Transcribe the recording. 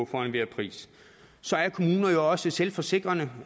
for enhver pris så er kommuner jo også selvforsikrende